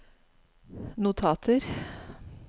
notater